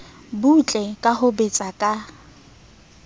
butle ka ho betsa ka